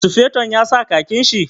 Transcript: Sufeton ya sa khakin shi?